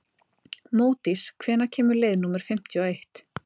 Módís, hvenær kemur leið númer fimmtíu og eitt?